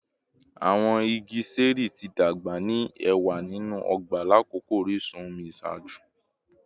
Awọn igi ṣẹẹri ti dagba ni ẹwa ninu ọgba lakoko orisun omi iṣaaju